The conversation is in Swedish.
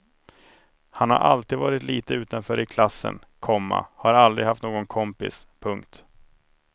Han har alltid varit lite utanför i klassen, komma har aldrig haft någon kompis. punkt